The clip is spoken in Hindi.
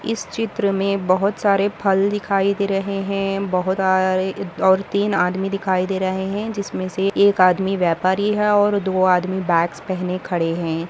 इस चित्र मे बहुत सारे फल दिखाई दे रहे है बहुर सारे और तीन आदमी दिखाई दे रहे है जिसमे से एक आदमी व्यापारी है और दो आदमी बॅग्स पेहने खडे है।